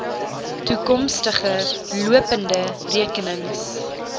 toekomstige lopende rekenings